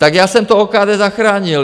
Tak já jsem to OKD zachránil.